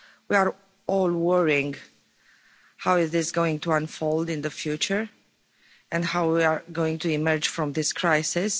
We are all worrying about how this is going to unfold in the future and how we are going to emerge from this crisis.